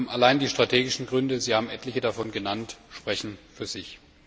Allein die strategischen Gründe Sie haben etliche davon genannt sprechen für sich.